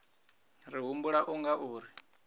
ri humbula u nga ri